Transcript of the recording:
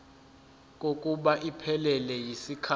kokuba iphelele yisikhathi